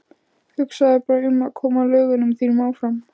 Hugsaðu bara um að koma lögunum þínum áfram.